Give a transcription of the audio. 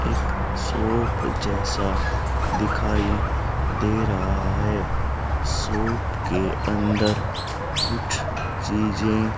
एक शॉप जैसा दिखाई दे रहा है शॉप के अंदर कुछ चीजें--